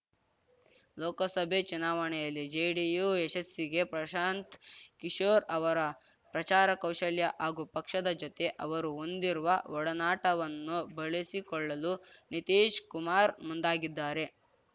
ಲೋಕಸಭೆ ಚುನಾವಣೆಯಲ್ಲಿ ಜೆಡಿಯು ಯಶಸ್ಸಿಗೆ ಪ್ರಶಾಂತ್‌ ಕಿಶೋರ್‌ ಅವರ ಪ್ರಚಾರ ಕೌಶಲ್ಯ ಹಾಗೂ ಪಕ್ಷದ ಜೊತೆ ಅವರು ಹೊಂದಿರುವ ಒಡನಾಟವನ್ನು ಬಳಿಸಿಕೊಳ್ಳಲು ನಿತೀಶ್‌ ಕುಮಾರ್‌ ಮುಂದಾಗಿದ್ದಾರೆ